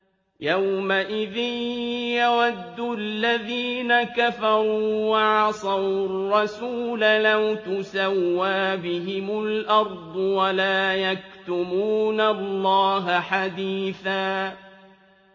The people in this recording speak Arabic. يَوْمَئِذٍ يَوَدُّ الَّذِينَ كَفَرُوا وَعَصَوُا الرَّسُولَ لَوْ تُسَوَّىٰ بِهِمُ الْأَرْضُ وَلَا يَكْتُمُونَ اللَّهَ حَدِيثًا